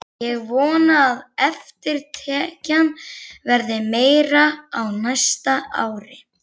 Ég vona að eftirtekjan verði meiri á næsta ári.